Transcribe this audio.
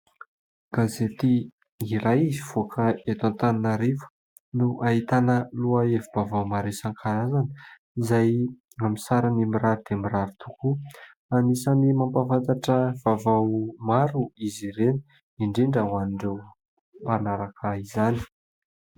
Gazety iray mivoaka eto Antananarivo no ahitana lohahevi-baovao maro isan-karazany izay amin'ny sarany mirary dia mirary tokoa. Anisan'ny mampahafantatra vaovao maro izy ireny, indrindra ho an'ireo mpanaraka izany.